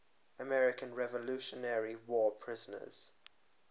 american revolutionary war prisoners